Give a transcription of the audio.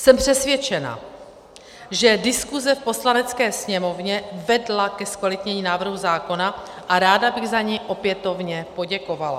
Jsem přesvědčena, že diskuze v Poslanecké sněmovně vedla ke zkvalitnění návrhu zákona, a ráda bych za ni opětovně poděkovala.